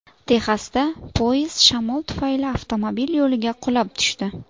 Texasda poyezd shamol tufayli avtomobil yo‘liga qulab tushdi.